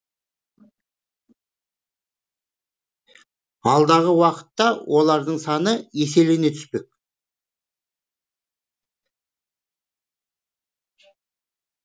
алдағы уақытта олардың саны еселене түспек